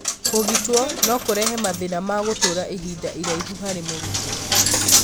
kũũgitwo no kũrehe mathĩna ma gũtũra ihinda iraihu harĩ mũrutwo.